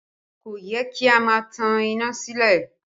Kò yẹ kí a máa tan iná sílẹ̀